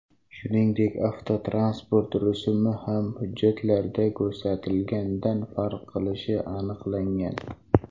Shuningdek, avtotransport rusumi ham hujjatlarda ko‘rsatilgandan farq qilishi aniqlangan.